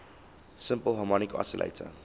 simple harmonic oscillator